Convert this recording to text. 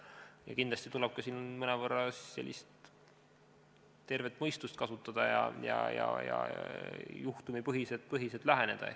Ja kindlasti tuleb siin ka mõnevõrra sellist tervet mõistust kasutada ja juhtumipõhiselt läheneda.